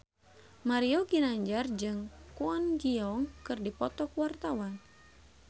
Mario Ginanjar jeung Kwon Ji Yong keur dipoto ku wartawan